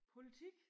Politik